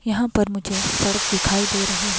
यहां पर मुझे सड़क दिखाई दे रही --